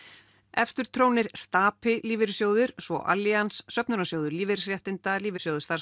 efstur trónir Stapi lífeyrissjóður svo Söfnunarsjóður lífeyrisréttinda Lífeyrissjóður